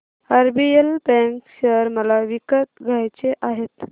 RBL bank share मला विकत घ्यायचे आहेत